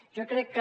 jo crec que